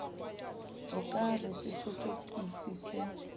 o ka re sethothokisi se